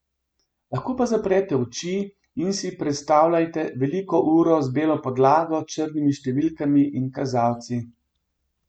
Lahko pa zaprete oči in si predstavljajte veliko uro z belo podlago, črnimi številkami in kazalci.